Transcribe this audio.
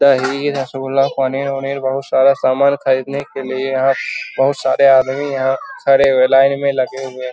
दही रसगुल्ला पनीर-उनीर बहुत सारा समान खरीदने के लिए यहाँ बहुत सारे आदमी यहाँ खड़े हुए लाइन में लगे हुए --